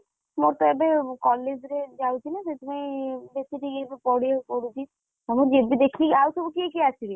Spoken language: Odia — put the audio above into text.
ମୋର ତ ଏବେ college ରେ ଯାଉଚି ନା ସେଥିପାଇଁ ଯେତିକି ଏବେ ପଢିଆକୁ ପଡ଼ୁଚି ହଁ ଯିବି ଦେଖିକି, ଆଉ ସବୁ କିଏ କିଏ ଆସିବେ?